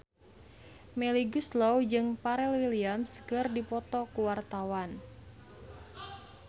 Melly Goeslaw jeung Pharrell Williams keur dipoto ku wartawan